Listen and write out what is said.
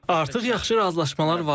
Artıq yaxşı razılaşmalar var.